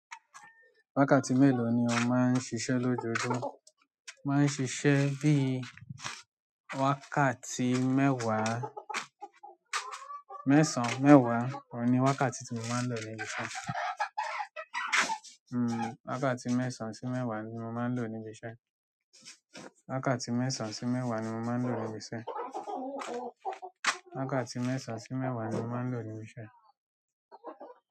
Wákàtí melo ni o ma n ṣiṣẹ lojoojumọ. Máa ń ṣiṣẹ́ bíi wákàtí mẹ́wàá, mẹ́sàn-án mẹ́wàá. Òun ni wákàtí tí mo máa ń lò níbi iṣẹ́. Wákàtí mẹ́sàn si mẹwa ni mo maa n lo ni ibi iṣẹ́ wákàtí mẹ́sàn-án sí mẹ́wàá ni mo máa ń lò níbi iṣẹ́. Wákàtí mẹ́sàn-án sí mẹ́wàá ni mo máa ń lò níbi iṣẹ́.